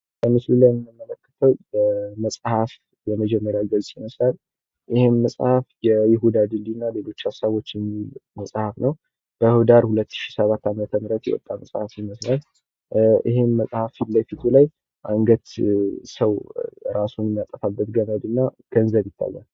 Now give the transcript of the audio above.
የምንመለከተው ምስል የመፅሐፍ የመጀመርያው ገፅ ይመስላል። ይህም መፅሀፍ የይሁዳ ድልድይና ሌሎች ሀሳቦችን የሚይዝ መፅሀፍ ነው። በህዳር 2007 ዓ.ም የወጣ መፅሐፍ ይመስላል። ይሄም መፅሀፍ ፊት ለፊቱ ላይ አንገት ሰው እራሱን የሚያጠፋበት ገመድና ገንዘብ ይታያል።